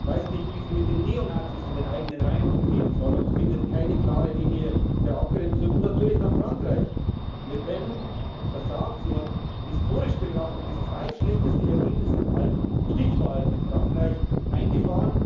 weiß nicht, wie sie mit den Neonazis in den eigenen Reihen umgehen soll und findet keine klare Linie der Abgrenzung. Und natürlich dann Frankreich Le Pen hat versagt, sie hat historisch betrachtet das zweitschlechteste Ergebnis in allen Stichwahlen in Frankreich eingefahren.